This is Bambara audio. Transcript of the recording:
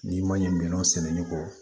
N'i ma ɲɛ minɛnw sɛnɛ ɲɔgɔn kɔ